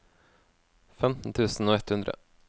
femten tusen og ett hundre